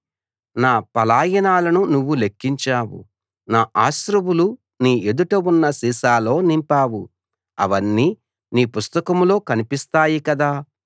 నా పలాయనాలను నువ్వు లెక్కించావు నా అశ్రువులు నీ ఎదుట ఉన్న సీసాలో నింపావు అవన్నీ నీ పుస్తకంలో కనిపిస్తాయి కదా